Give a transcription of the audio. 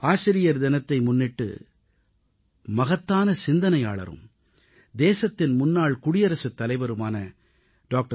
ஆசிரியர் தினத்தை முன்னிட்டு மகத்தான சிந்தனையாளரும் தேசத்தின் முன்னாள் குடியரசுத் தலைவருமான டா